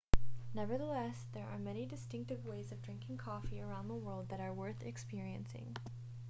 nevertheless there are many distinctive ways of drinking coffee around the world that are worth experiencing